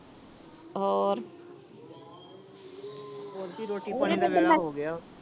ਹੋਰ